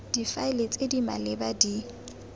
difaele tse di maleba di